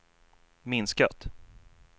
minskat